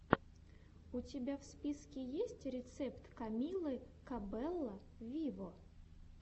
у тебя в списке есть рецепт камилы кабелло виво